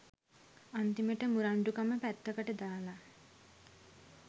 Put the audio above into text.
අන්‍ති‍ම‍ට ‍මු‍රණ්‍ඩු‍ක‍ම ‍පැත්‍ත‍ක‍ට ‍දා‍ලා